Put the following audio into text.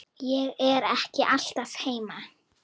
Ég er ekki alltaf heima.